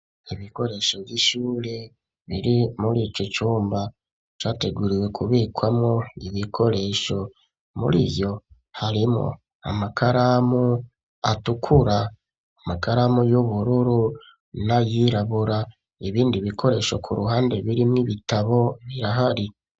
Ibikoresho vy'ishure biri muri ico cumba categuriwe kubikwamo ibikoresho, muriyo harimwo amakaramu atukura, amakaramu y'ubururu na yirabura ibindi bikoresho ku ruhande biri mw'ibitabo birahari.